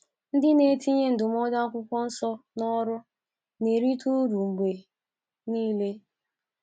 Ndị na - etinye ndụmọdụ akwukwọnsọ n’ọrụ na - erite uru mgbe nile.